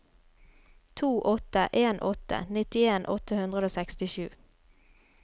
to åtte en åtte nittien åtte hundre og sekstisju